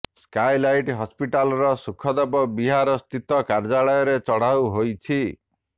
Skylight ହସ୍ପିଟାଲିଟର ସୁଖଦେବ ବିହାର ସ୍ଥିତ କାର୍ଯ୍ୟାଳୟରେ ଚଢାଉ ହୋଇଛି